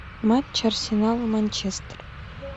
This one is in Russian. матч арсенал манчестер